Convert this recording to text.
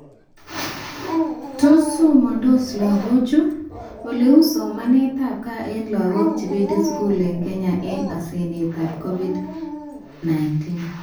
Tos somansot lagukcho? Oleu somanetab gag eng laguk chebendi skul eng Kenya eng asenetab COVID-19